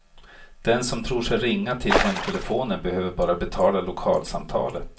Den som tror sig ringa till hemtelefonen behöver bara betala lokalsamtalet.